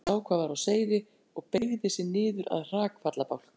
Fórnaði höndum þegar hún sá hvað var á seyði og beygði sig niður að hrakfallabálknum.